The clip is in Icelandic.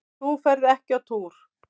Þú ferð ekki á túr!